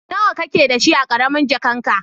Nawa ka ke da shi a karamin jakan ka?